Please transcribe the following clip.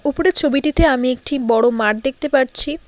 ওপরের ছবিটিতে আমি একটি বড়ো মাঠ দেখতে পারছি।